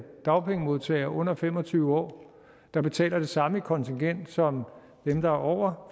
dagpengemodtagere under fem og tyve år der betaler det samme i kontingent som dem der er over